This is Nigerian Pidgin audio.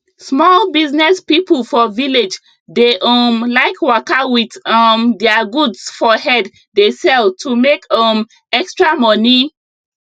small business people for village dey um like waka wit um their goods for head dey sell to make um extra money